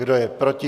Kdo je proti?